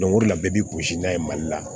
o de la bɛɛ b'i gosi n'a ye mali la